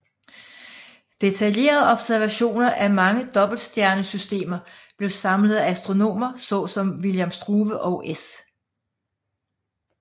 Detaljerede observationer af mange dobbeltstjernesystemer blev samlet af astronomer såsom William Struve og S